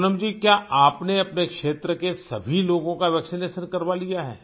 पूनम जी क्या आपने अपने क्षेत्र के सभी लोगों का वैक्सिनेशन करवा लिया है